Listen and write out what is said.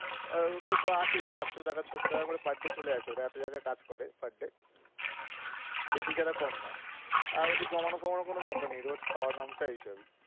ঐটা তো আসেই পাঁচশো টাকা ছয়শো টাকা করে per day চলে আসে রাতে যারা কাজ করে per day বেশি ছাড়া কম না তাহলে তো জমানো টমানো কোনো ব্যাপারনা rest খাওয়া~